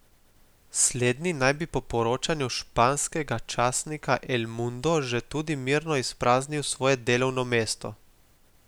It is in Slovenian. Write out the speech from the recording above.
Slednji naj bi po poročanju španskega časnika El Mundo že tudi mirno izpraznil svoje delovno mesto.